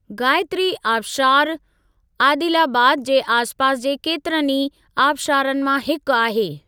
गायत्री आबशारु, आदिलाबाद जे आस पास जे केतिरनि ई आबशारनि मां हिकु आहे।